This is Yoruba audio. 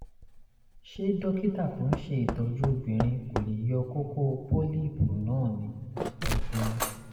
ṣé dókítà tó ń ṣe ìtọ́jú obìnrin kò lè yọ kókó (pólíìpù) náà ni? ẹ ṣeun